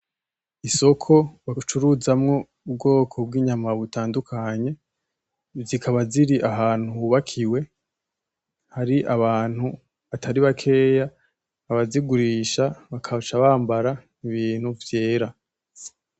Isoko bacuruzamwo ubwoko bwinyama butandukanye, zikaba ziri ahantu hubakiwe hari abantu batari bakeya, abazigurisha bagaca bambara ibintu vyera